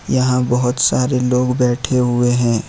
यहां बहुत सारे लोग बैठे हुए हैं।